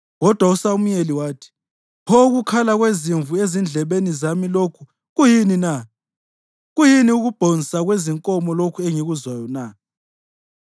Kodwa uSamuyeli wathi, “Pho ukukhala kwezimvu ezindlebeni zami lokhu kuyini na? Kuyini ukubhonsa kwezinkomo lokhu engikuzwayo na?”